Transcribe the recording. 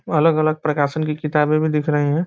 अलग-अलग प्रकाशन की किताबे भी दिख रही हैं ।